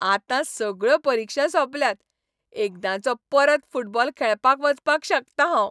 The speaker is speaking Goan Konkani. आतां सगळ्यो परिक्षा सोंपल्यात, एकदांचो परतो फुटबॉल खेळपाक वचपाक शकता हांव.